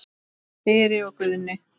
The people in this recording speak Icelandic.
Þyri og Guðni.